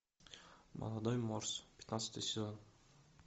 молодой морс пятнадцатый сезон